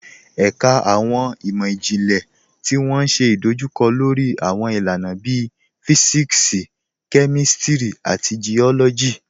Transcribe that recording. Ẹ̀kà awọn imọ-jinlẹ̀ tó wọ́n ṣé idojúkọ̀ lórí awọn ilànà bíí Físíksì, Kémístírì, àti Geólọ́jì.